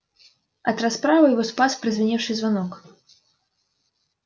от расправы его спас прозвеневший звонок